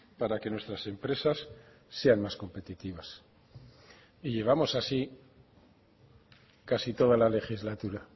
para que nuestras empresas sean más competitivas y llevamos así casi toda la legislatura